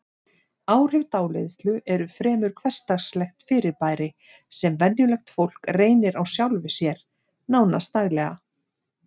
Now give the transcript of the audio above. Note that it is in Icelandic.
Áhrif dáleiðslu eru fremur hversdagslegt fyrirbæri sem venjulegt fólk reynir á sjálfu sér, nánast daglega.